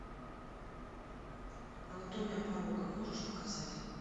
анатомия порока можешь показать